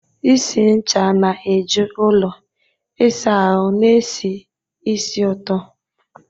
Isi ncha na-eju ụlọ ịsa ahụ na-esi ísì ụtọ.